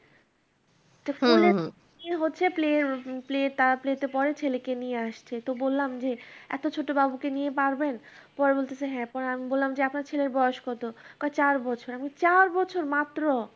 কোলে নিয়ে হচ্ছে peler peler তারা peler তে পড়ে ছেলেকে নিয়ে আসছে তো বললাম যে এত ছোট বাবুকে নিয়ে পারবেন। পরে বলতেছে হ্যাঁ। তারপরে আমি বললাম যে আপনার ছেলের বয়স কত। কয় চার বছর। চার বছর মাত্র?